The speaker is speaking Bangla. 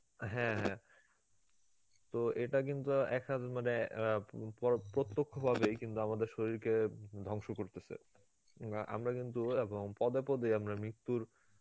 হ্যাঁ হ্যাঁ, তো এটা কিন্তু এক~ মানে অ্যাঁ পর~ প্রত্যক্ষ ভাবেই কিন্তু আমাদের শরীরকে উম ধ্বংস করতেসে, উম অ্যাঁ আমরা কিন্তু এরকম পদে পদে আমরা মৃত্যুর